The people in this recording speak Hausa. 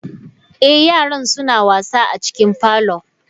Eh yaran suna wasa a cikin parlour.